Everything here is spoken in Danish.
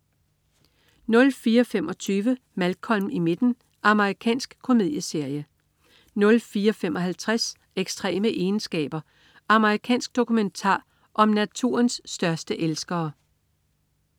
04.25 Malcolm i midten. Amerikansk komedieserie 04.55 Ekstreme egenskaber. Amerikansk dokumentar om naturens største elskere